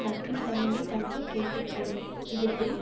நட்பின்தகைமை தமக்கு கேட்டைத்தரும் இது பின்